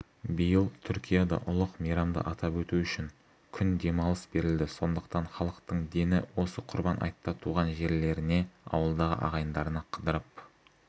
биыл түркияда ұлық мейрамды атап өту үшін күн демалыс берілді сондықтан халықтың дені осы құрбан айтта туған жерлеріне ауылдағы ағайындарына қыдырып